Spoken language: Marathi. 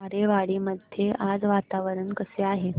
आरेवाडी मध्ये आज वातावरण कसे आहे